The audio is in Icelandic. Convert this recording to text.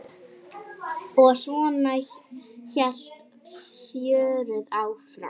Og svona hélt fjörið áfram.